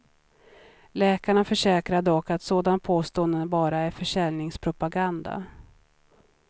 Läkarna försäkrar dock att såna påståenden bara är försäljningspropaganda.